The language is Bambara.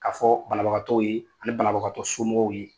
Ka fɔ banabagatɔw ye ani banabagatɔ somɔgɔw ye.